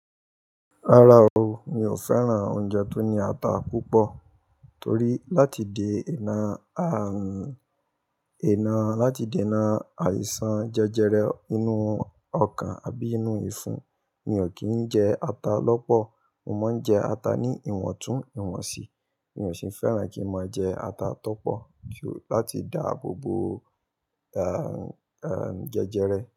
Rárá o, mi ò fẹ́ràn oúnjẹ tó ní ata púpọ̀ torí láti de ẹ̀ina, ẹ̀ina, láti de ẹ̀ina àìsàn jẹjẹrẹ inú ọkàn àbí inú ìfún, mi ò kí ń jẹ ata lọ́pọ̀. Mo máa ń jẹ ata ní ìwọ̀ntúnwọ̀nsì, mi ò sì fẹ́ràn kí mo jẹ ata tó pọ̀ láti dàábo bo, eh, eh, jẹjẹrẹ.